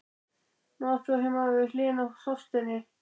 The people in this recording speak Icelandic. Nú átt þú heima við hliðina á Þorsteini.